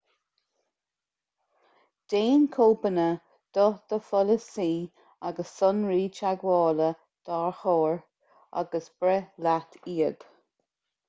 déan cóipeanna do do pholasaí agus sonraí teagmhála d'árachóir agus breith leat iad